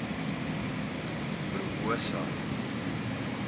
promosa